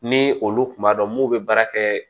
Ni olu kun b'a dɔn mun bɛ baara kɛ